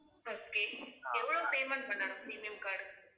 okay எவ்வளவு payment பண்ணாலும், premium card க்கு